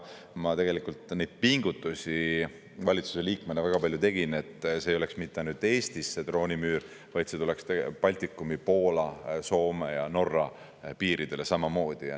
Ma tegin valitsuse liikmena tegelikult väga palju neid pingutusi, et see droonimüür ei oleks mitte ainult Eestis, vaid see tuleks Baltikumi, Poola, Soome ja Norra piiridele samamoodi.